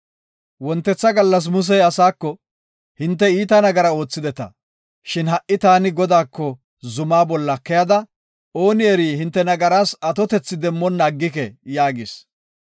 Wontetha gallas Musey asaako, “Hinte iita nagara oothideta; shin ha77i taani Godaako zuma bolla keyada, ooni eri hinte nagaras atotethi demmonna aggike” yaagis.